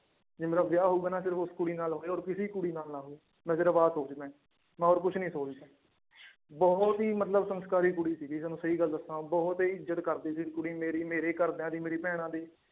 ਜੇ ਮੇਰਾ ਵਿਆਹ ਹੋਊਗਾ ਨਾ ਸਿਰਫ਼ ਉਸ ਕੁੜੀ ਨਾਲ ਹੋਵੇ ਹੋਰ ਕਿਸੇ ਕੁੜੀ ਨਾਲ ਨਾ ਹੋਵੇ ਮੈਂ ਸਿਰਫ਼ ਆਹ ਸੋਚਦਾ ਹੈ ਮੈਂ ਹੋਰ ਕੁਛ ਨੀ ਸੋਚਦਾ ਬਹੁਤ ਹੀ ਮਤਲਬ ਸੰਸਕਾਰੀ ਕੁੜੀ ਸੀਗੀ ਤੁਹਾਨੂੰ ਸਹੀ ਗੱਲ ਦੱਸਾਂ ਬਹੁਤ ਹੀ ਇੱਜ਼ਤ ਕਰਦੀ ਸੀ ਕੁੜੀ ਮੇਰੀ ਮੇਰੇ ਘਰਦਿਆਂ ਦੀ ਮੇਰੀ ਭੈਣਾਂ ਦੀ